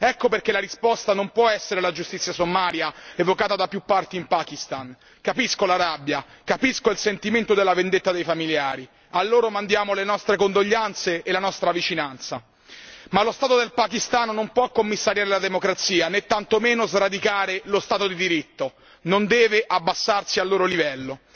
Ecco perché la risposta non può essere la giustizia sommaria evocata da più parti in Pakistan, capisco la rabbia, capisco il sentimento della vendetta dei familiari, a loro mandiamo le nostre condoglianze e la nostra vicinanza, ma lo Stato del Pakistan non può commissariare la democrazia né tantomeno sradicare lo Stato di diritto, non deve abbassarsi al loro livello.